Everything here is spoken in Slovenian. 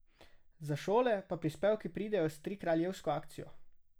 Za šole pa prispevki pridejo s Trikraljevsko akcijo.